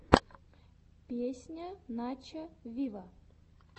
песня начо виво